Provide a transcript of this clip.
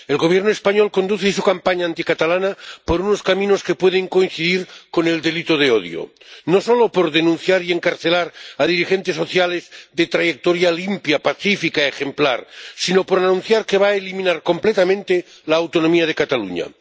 El Gobierno español conduce su campaña anticatalana por unos caminos que pueden coincidir con el delito de odio, no solo por denunciar y encarcelar a dirigentes sociales de trayectoria limpia, pacífica, ejemplar, sino por anunciar que va a eliminar completamente la autonomía de Cataluña.